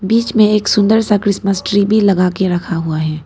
बीच में एक सुंदर सा क्रिसमस ट्री भी लगा के रखा हुआ है।